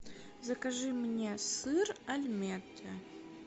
закажи мне сыр альметте